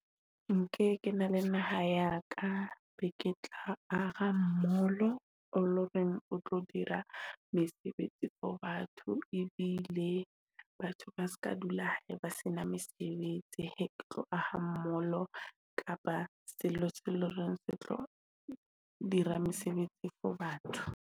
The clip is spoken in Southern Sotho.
Nke ke na le naha ya ka be ke tla aha mall-o, o lo reng o tlo dira mesebetsi for batho ebile batho ba ska dula hae ba sena mesebetsi. Ha ke tlo aha mall-o kapa selo se loreng se tlo dira mesebetsi for batho.